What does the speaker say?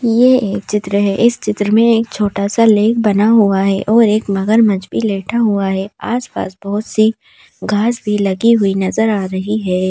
ये एक चित्र है इस चित्र में एक छोटा सा लेख बना हुआ है और एक मगरमच्छ लेटा हुआ है आस पास बहोत सी घास भी लगी हुई नजर आ रही हैं।